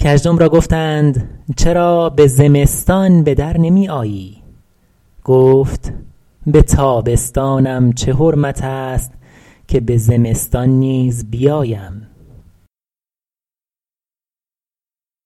کژدم را گفتند چرا به زمستان به در نمی آیی گفت به تابستانم چه حرمت است که به زمستان نیز بیایم